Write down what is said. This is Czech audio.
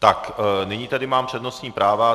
Tak, nyní tady mám přednostní práva.